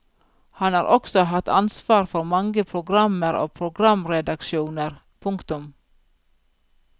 Han har også hatt ansvar for mange programmer og programredaksjoner. punktum